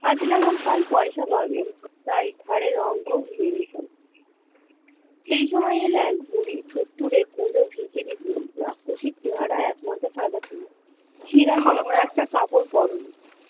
আজ এমন কাল পইসা পাওয়া তাই ঘাড়ের ওঙ্কার সেই সময় এলো এক বুড়ী, থুড়থুড়ে পুরো ভিখারি বুড়ি রাক্ষসীর চেহারা এক মাথা সাদা চুল ছেঁড়া নোংরা একটা কাপড় পরে নি।